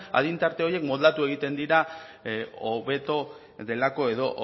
adin tarte horiek moldatu egiten dira hobeto delako edo